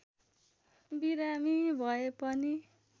बिमारी भए पनि